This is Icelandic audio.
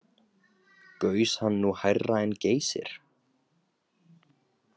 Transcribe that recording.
Gaus hann nú hærra en Geysir.